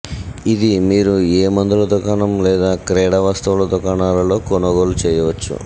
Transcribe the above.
ఇది మీరు ఏ మందుల దుకాణం లేదా క్రీడా వస్తువుల దుకాణాలలో కొనుగోలు చేయవచ్చు